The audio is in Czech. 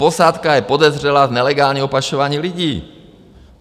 Posádka je podezřelá z nelegálního pašování lidí.